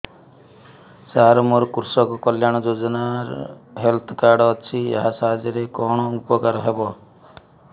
ସାର ମୋର କୃଷକ କଲ୍ୟାଣ ଯୋଜନା ହେଲ୍ଥ କାର୍ଡ ଅଛି ଏହା ସାହାଯ୍ୟ ରେ କଣ ଉପକାର ହବ